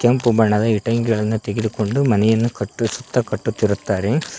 ಕೆಂಪು ಬಣ್ಣದ ಇಟ್ಟಂಗಿಗಳನ್ನು ತೆಗೆದುಕೊಂಡು ಮನೆಯನ್ನು ಕಟ್ಟಿಸುತ್ತಾ ಕಟ್ಟುತ್ತಿರುತ್ತಾರೆ.